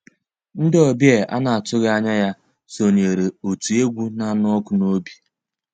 Ndị́ ọ̀bịá á ná-àtụ́ghị́ ànyá yá sonyééré ótú égwu ná-ànụ́ ọ́kụ́ n'òbí.